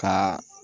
Ka